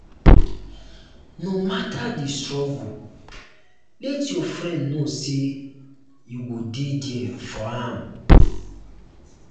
no matter di struggle let your friend know say you go dey there for am.